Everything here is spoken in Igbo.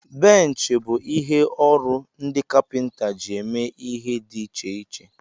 Benchi ọrụ bụ ihe ọrụ ndị kapinta ji eme ihe dị iche.